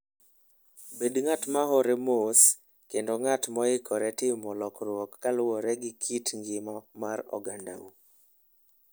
Bed ng'at ma hore mos kendo ng'at moikore timo lokruok kaluwore gi kit ngima mar ogandau.